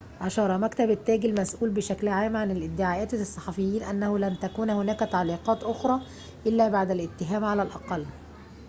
أشار مكتب التاج المسؤول بشكل عام عن الادعاءات للصحفيين أنه لن تكون هناك تعليقات أخرى إلا بعد الاتهام على الأقل